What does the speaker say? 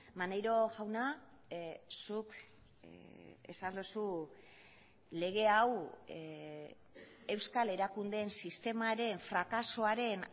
maneiro jauna zuk esan duzu lege hau euskal erakundeen sistemaren frakasoaren